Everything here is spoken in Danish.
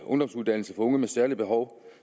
ungdomsuddannelse for unge med særlige behov